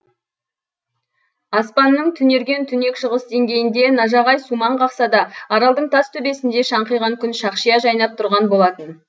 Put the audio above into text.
аспанның түнерген түнек шығыс деңгейінде нажағай сумаң қақса да аралдың тас төбесінде шаңқиған күн шақшия жайнап тұрған болатын